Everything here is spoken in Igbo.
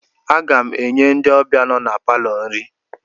Aga m enye ndị ọbịa nọ na palọ nri